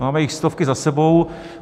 Máme jich stovky za sebou.